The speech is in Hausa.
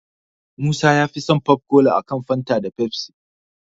Musa yafi son popcola a kan Fanta da Pepsi.